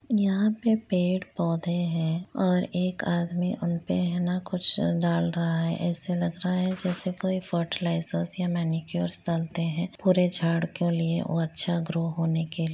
यहाँ पे पेड़ पौधे है और एक आदमी उनपे ना कुछ दाल रहा है ऐसे लग रहा है जैसे कोई फर्टीलिज़ेर्स या मेनिक्योर्स डालते हैं पूरे झाड़ को लिए और अच्छा गारो होने के--